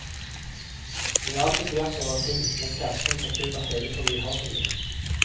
Jeg er alltid på jakt etter ting, men terskelen for kjøp er hevet fordi jeg har så mye.